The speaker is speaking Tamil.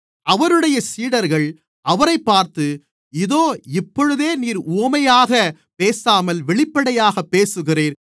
அவருடைய சீடர்கள் அவரைப் பார்த்து இதோ இப்பொழுது நீர் உவமையாகப் பேசாமல் வெளிப்படையாக பேசுகிறீர்